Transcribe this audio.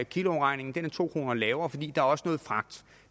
kiloafregningen to kroner lavere fordi der også er noget fragt